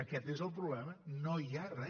aquest és el problema no hi ha re